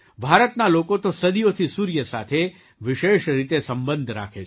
ભારતના લોકો તો સદીઓથી સૂર્ય સાથે વિશેષ રીતે સંબંધ રાખે છે